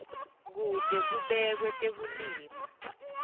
kute kubekwe tekulima